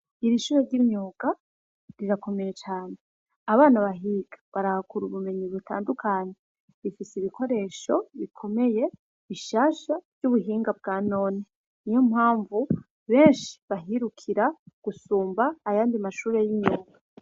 Irishure ry'imyoka rirakomeye cane abana bahiga barakura ubumenyi butandukane bifise ibikoresho bikomeye ishasha ry'ubuhinga bwa none ni yo mpamvu benshi bahirukira gusumba ayandi mashure y'imyoka.